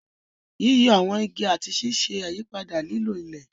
Yíyọ àwọn igi àti ṣíṣe àyípadà lílo ilẹ̀.